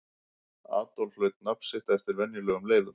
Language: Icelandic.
Adolf hlaut nafn sitt eftir venjulegum leiðum.